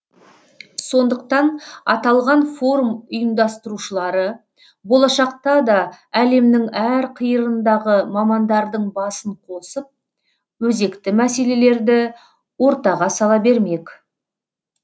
сондықтан аталған форум ұйымдастырушылары болашақта да әлемнің әр қиырындағы мамандардың басын қосып өзекті мәселелерді ортаға сала бермек